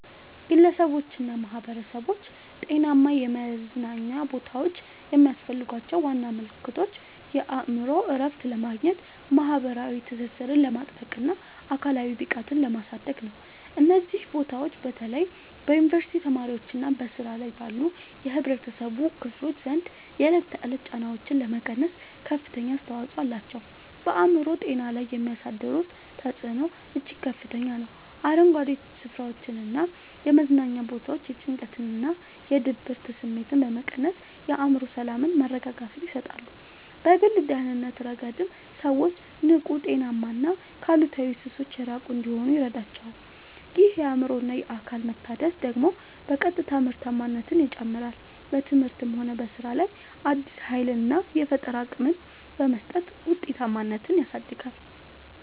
ግለሰቦችና ማኅበረሰቦች ጤናማ የመዝናኛ ቦታዎች የሚያስፈልጓቸው ዋና ምክንያቶች የአእምሮ እረፍት ለማግኘት፣ ማኅበራዊ ትስስርን ለማጥበቅና አካላዊ ብቃትን ለማሳደግ ነው። እነዚህ ቦታዎች በተለይ በዩኒቨርሲቲ ተማሪዎችና በሥራ ላይ ባሉ የኅብረተሰብ ክፍሎች ዘንድ የዕለት ተዕለት ጫናዎችን ለመቀነስ ከፍተኛ አስተዋጽኦ አላቸው። በአእምሮ ጤና ላይ የሚያሳድሩት ተጽዕኖ እጅግ ከፍተኛ ነው፤ አረንጓዴ ስፍራዎችና የመዝናኛ ቦታዎች የጭንቀትና የድብርት ስሜትን በመቀነስ የአእምሮ ሰላምና መረጋጋትን ይሰጣሉ። በግል ደህንነት ረገድም ሰዎች ንቁ: ጤናማና ከአሉታዊ ሱሶች የራቁ እንዲሆኑ ይረዳቸዋል። ይህ የአእምሮና አካል መታደስ ደግሞ በቀጥታ ምርታማነትን ይጨምራል: በትምህርትም ሆነ በሥራ ላይ አዲስ ኃይልና የፈጠራ አቅም በመስጠት ውጤታማነትን ያሳድጋል።